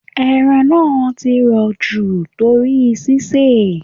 Ẹran náà ti rò jù torí sisè.